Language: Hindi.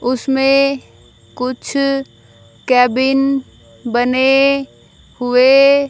उसमें कुछ केबिन बने हुए --